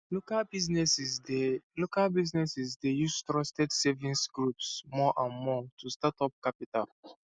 local businesses dey local businesses dey use trusted savings groups more and more to get startup capital